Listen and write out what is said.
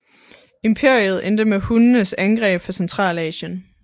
Imperiet endte med hunnernes angreb fra Centralasien